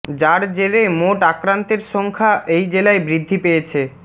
যার জেরে মোট আক্রান্তের সংখ্যা এই জেলায় বৃদ্ধি পেয়েছে